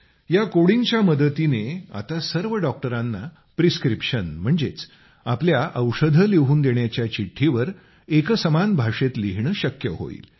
या कोडिंगच्या मदतीने आता सर्व डॉक्टरांना प्रिस्क्रीप्शन म्हणजेच आपल्या औषधं लिहून देण्याच्या चिठ्ठीवर एकसमान भाषेत लिहिणं शक्य होईल